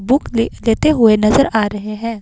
Book ले लेते हुए नज़र आ रहे हैं।